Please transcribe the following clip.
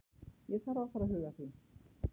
Ég þarf að fara að huga því.